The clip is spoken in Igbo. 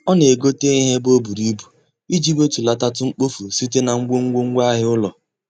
Ọ na-egote ihe ebe o buru ibu iji wetulatatụ mkpofu sitere na ngwongwo ngwaahịa ụlọ.